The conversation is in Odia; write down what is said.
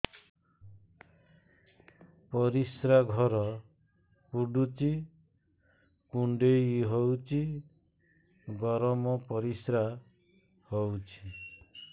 ପରିସ୍ରା ଘର ପୁଡୁଚି କୁଣ୍ଡେଇ ହଉଚି ଗରମ ପରିସ୍ରା ହଉଚି